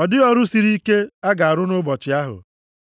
Ọ dịghị ọrụ siri ike a ga-arụ nʼụbọchị ahụ.